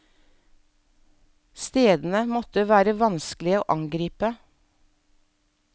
Stedene måtte være vanskelig å angripe.